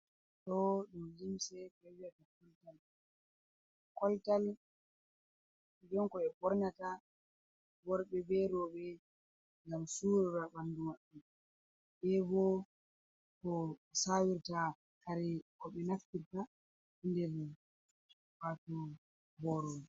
To dum gimse koltal koltal jenko e bornata worbe berobe gam surra bandumadu e bo ko sawirta kare ko be naffirta nder wato borobe.